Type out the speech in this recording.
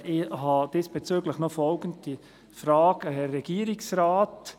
Ich habe diesbezüglich noch folgende Fragen an den Regierungsrat: